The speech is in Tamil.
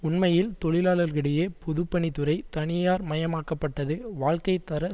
உண்மையில் தொழிலாளர்களிடையே பொது பணித்துறை தனியார் மயமாக்கப்பட்டது வாழ்க்கை தர